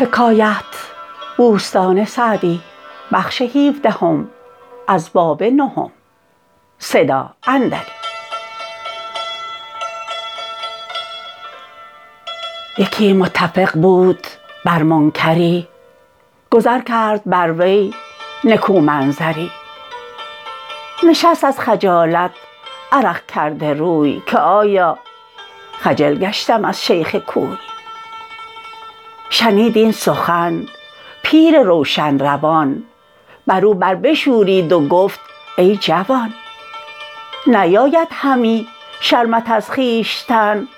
یکی متفق بود بر منکری گذر کرد بر وی نکو محضری نشست از خجالت عرق کرده روی که آیا خجل گشتم از شیخ کوی شنید این سخن پیر روشن روان بر او بر بشورید و گفت ای جوان نیاید همی شرمت از خویشتن